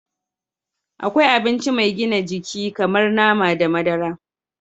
Akwai abinci mai gina jiki kamar nama da madara